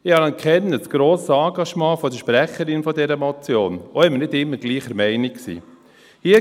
Ich anerkenne das grosse Engagement der Sprecherin dieser Motion, auch wenn wir nicht immer gleicher Meinung sind.